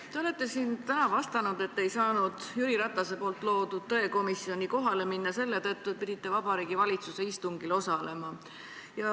Te olete siin täna vastanud, et te ei saanud Jüri Ratase loodud tõekomisjoni kohale minna selle tõttu, et pidite Vabariigi Valitsuse istungil osalema.